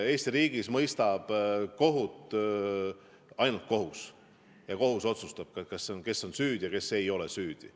Eesti riigis mõistab kohut ainult kohus ja kohus otsustab, kes on süüdi ja kes ei ole süüdi.